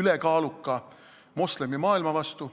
ülekaaluka moslemimaailma vastu.